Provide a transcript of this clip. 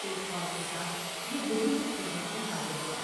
ایک خواص کے ساتھ یہ بزرگ کی خدمت میں حاضر ہوا ۔